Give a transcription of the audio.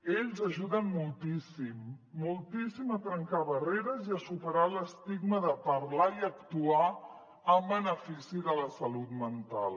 ells ajuden moltíssim moltíssim a trencar barreres i a superar l’estigma de parlar i actuar en benefici de la salut mental